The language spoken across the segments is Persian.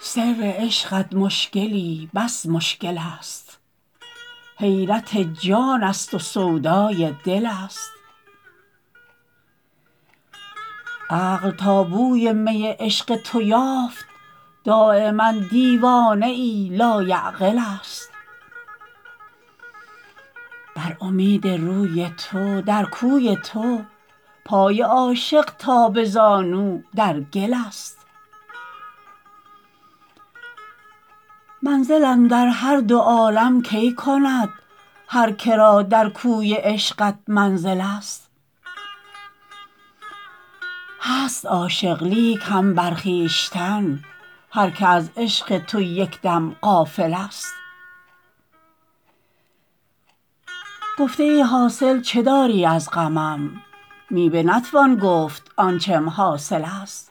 سر عشقت مشکلی بس مشکل است حیرت جان است و سودای دل است عقل تا بوی می عشق تو یافت دایما دیوانه ای لایعقل است بر امید روی تو در کوی تو پای عاشق تا به زانو در گل است منزل اندر هر دو عالم کی کند هر که را در کوی عشقت منزل است هست عاشق لیک هم بر خویشتن هر که از عشق تو یک دم غافل است گفته ای حاصل چه داری از غمم می به نتوان گفت آنچم حاصل است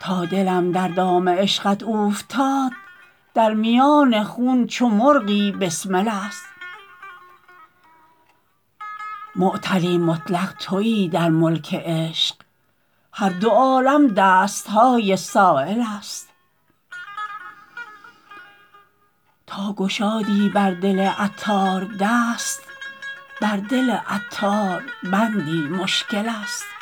تا دلم در دام عشقت اوفتاد در میان خون چو مرغی بسمل است معطلی مطلق تویی در ملک عشق هر دو عالم دست های سایل است تا گشادی بر دل عطار دست بر دل عطار بندی مشکل است